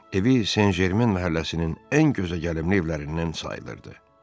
Evi Sen-Jermen məhəlləsinin ən gözəgəlimli evlərindən sayılırdı.